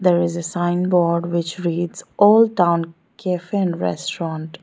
There is a sign board which reads old town cafe and restaurant.